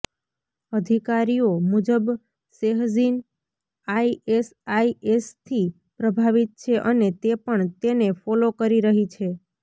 અધિકારીઓ મુજબ શેહજીન આઇએસઆઇએસથી પ્રભાવિત છે અને તે પણ તેને ફોલો કરી રહી છે